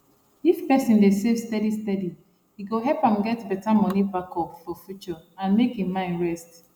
if person dey save steady steady e go help am get better money backup for future and make im mind rest